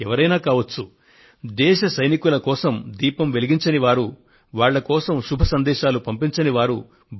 వారు ఎవరైనా కావచ్చు దేశ సైనికుల కోసం దీపం వెలిగించని వారు వాళ్ల కోసం శుభ సందేశాలను పంపించని వారు